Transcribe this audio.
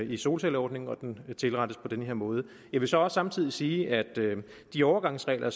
i solcelleordningen og at den tilrettes på den her måde jeg vil så samtidig sige at de overgangsregler